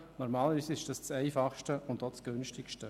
Das ist normalerweise das Einfachste und auch das Günstigste.